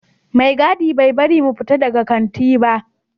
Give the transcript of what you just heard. Mai gadi bai bari mu fita daga kanti ba